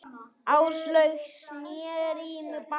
Áslaug sneri í mig baki.